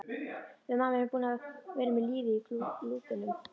Við mamma erum búin að vera með lífið í lúkunum.